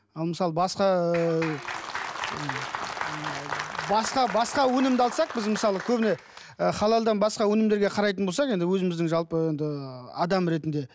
ал мысалы басқа ыыы басқа басқа өнімді алсақ біз мысалы көбіне халалдан басқа өнімдерге қарайтын болсақ енді өзіміздің жалпы енді ы адам ретінде